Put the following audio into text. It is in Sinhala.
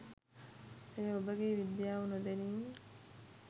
එය ඔබගේ විද්‍යාව නොදැනීම